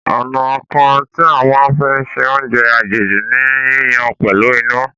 Ọ̀nà kan tí a máa ń fi ṣe oúnjẹ àjèjì ni yíyan pẹ̀lú iná.